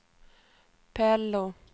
Pello